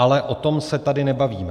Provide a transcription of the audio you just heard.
Ale o tom se tady nebavíme.